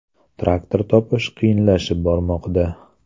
Traktor topish qiyinlashib bormoqda.